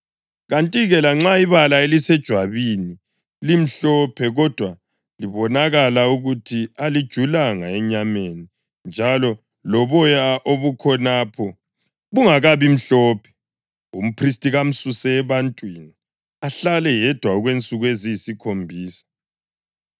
Kanti-ke lanxa ibala elisejwabini limhlophe kodwa libonakala ukuthi alijulanga enyameni njalo loboya obukhonapho bungakabimhlophe, umphristi kamsuse ebantwini, ahlale yedwa okwensuku eziyisikhombisa.